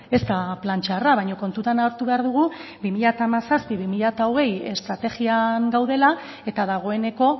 ez da plan txarra baina kontutan hartu behar dugu bi mila hamazazpi bi mila hogei estrategian gaudela eta dagoeneko